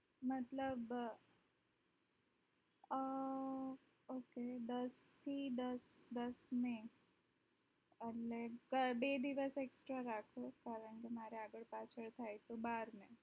મતલબ અ અ અ ok દસ થી દસ દસ મે per day બે દિવસ extra રાખો કારણકે મારે આગળ પાછળ ભાઈ તો બાર છે